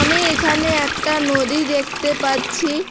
আমি এখানে একটা নদী দেখতে পাচ্ছি।